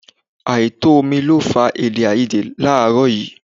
Àìtó omi ni ó fa èdèàìyedè láàrọ̀ yìí